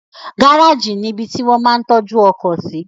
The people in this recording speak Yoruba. Gáràjì ni ibi tí wón máa ń tọ́jú ọkọ̀ sí